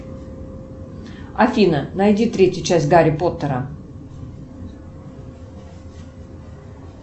афина найди третью часть гарри поттера